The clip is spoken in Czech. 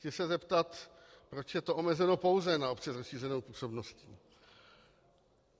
Chci se zeptat, proč je to omezeno pouze na obce s rozšířenou působností.